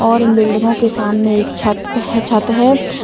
और इन बिल्डिंगो के सामने एक छत पे छत है।